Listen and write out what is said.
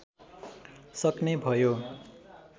सक्ने भयो